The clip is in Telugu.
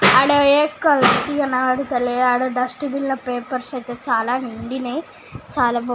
కానవడ్తలే అడా డస్ట్బిన్ ల పేపర్స్ అయితే చాల నిండినై చాల --